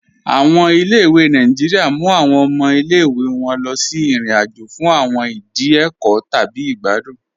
Awọn ilẹ̀-ìwé Nàìjíríà mú awọn ọmọ ilẹ̀-ìwé wọn lọ sí irin-àjò fún awọn ìdí ẹkọ́ tabi igbàdùn.